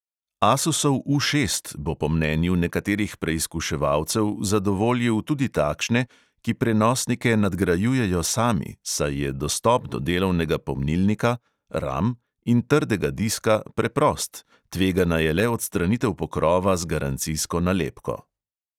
Asusov U šest bo po mnenju nekaterih preizkuševalcev zadovoljil tudi takšne, ki prenosnike nadgrajujejo sami, saj je dostop do delovnega pomnilnika in trdega diska preprost, tvegana je le odstranitev pokrova z garancijsko nalepko.